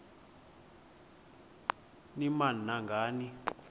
ni nam nangani